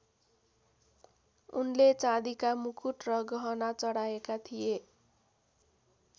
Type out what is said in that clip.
उनले चाँदीका मुकुट र गहना चढाएका थिए।